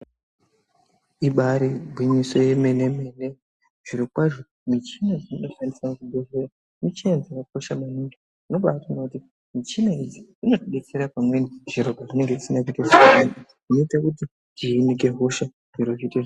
Ibaari gwinyiso yemene-mene, zvirokwazvo michina inoshandiswa muzvibhedhleya, michina yakakosha maningi. Unobaatoona kuti michina idzi dzinotidetsera pamweni, zviro pazvinenge zvisina kuite zvakanaka. Zvinoite kuti tihinike hosha, zviro zviite...